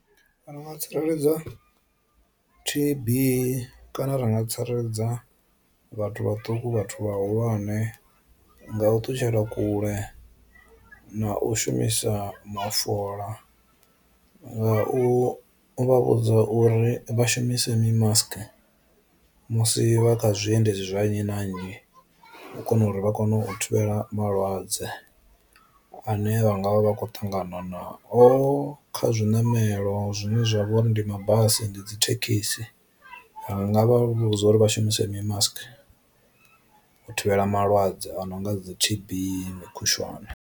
Ndi nga tsireledza tb kana ra nga tsireledza vhathu vhaṱuku vhathu vha hulwane nga u ṱutshela kule na u shumisa mafola, nga u vha vhudza uri vha shumise mi mask musi vha kha zwi endedzi zwa nnyi na nnyi u kona uri vha kone u thivhela malwadze ane vhanga vha vha khou ṱangana na o kha zwiṋamelo zwine zwa vha uri ndi mabasi ndi dzi thekhisi, ri nga vha vhudza uri vha shumise mi mask u thivhela malwadze a no nga dzi tb mi khushwane.